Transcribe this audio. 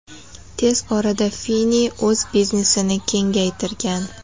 Tez orada Fini o‘z biznesini kengaytirgan.